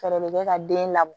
Fɛɛrɛ de bɛ ka den labɔ